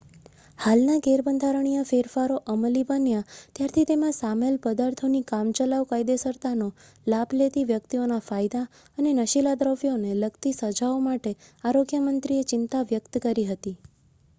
હાલના ગેરબંધારણીય ફેરફારો અમલી બન્યા ત્યારથી તેમાં સામેલ પદાર્થોની કામચલાઉ કાયદેસરતાનો લાભ લેતી વ્યક્તિઓના ફાયદા અને નશીલા દ્રવ્યોને લગતી સજાઓ માટે આરોગ્ય મંત્રીએ ચિંતા વ્યક્ત કરી હતી